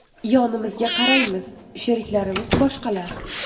Yonimizga qaraymiz sheriklarimiz boshqalar.